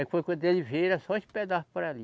Aí foi quando ele veio, era só esse pedaço para ali.